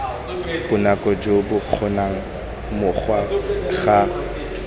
bonako jo bokgonegang morago ga